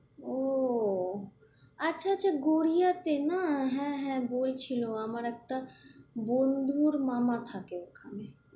ও আচ্ছা আচ্ছা গড়িয়া তে না, হ্যাঁ হ্যাঁ বলছিল আমার একটা বন্ধুর মামা থাকে ওখানে।